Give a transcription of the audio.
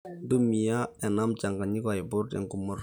ntumia ena mchanganyiko aiput enkumoto